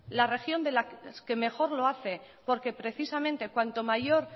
la región de las que mejor lo hace porque precisamente cuanto mayor